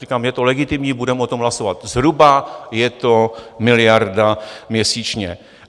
Říkám, je to legitimní, budeme o tom hlasovat, zhruba je to miliarda měsíčně.